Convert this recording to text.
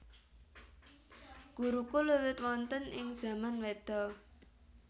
Gurukul wiwit wonten ing zaman Weda